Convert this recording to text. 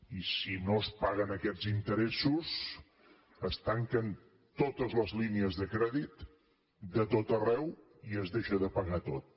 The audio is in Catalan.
i si no es paguen aquests interessos es tanquen totes les línies de crèdit de tot arreu i es deixa de pagar tot